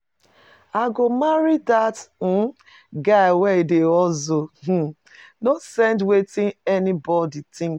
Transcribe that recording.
I go marry dat um guy wey dey hustle, I um no send wetin anybodi tink.